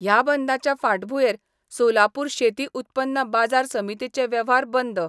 ह्या बंदांच्या फांटभुयेर सोलापुर शेती उत्पन्न बाजार समितीचे वेव्हार बंद